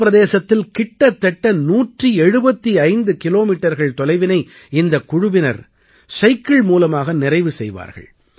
மலைப் பிரதேசத்தில் கிட்டத்தட்ட 175 கிலோமீட்டர்கள் தொலைவினை இந்தக் குழுவினர் சைக்கிள் மூலமாக நிறைவு செய்வார்கள்